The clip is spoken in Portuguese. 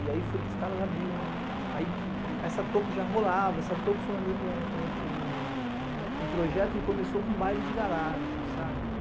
E aí foi que os caras abriram... Essa toco já rolava, essa toco foi um projeto que começou com um baile de garagem, sabe?